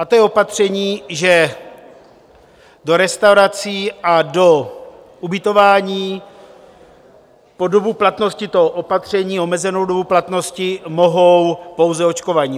A to je opatření, že do restaurací a do ubytování po dobu platnosti toho opatření, omezenou dobu platnosti, mohou pouze očkovaní.